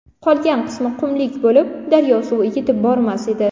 Qolgan qismi qumlik bo‘lib, daryo suvi yetib bormas edi.